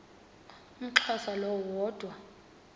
umxhosa lo woda